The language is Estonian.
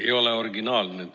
Ma ei ole originaalne.